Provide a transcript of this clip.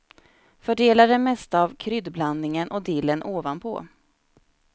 Fördela det mesta av kryddblandningen och dillen ovanpå.